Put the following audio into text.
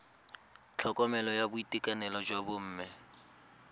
tlhokomelo ya boitekanelo jwa bomme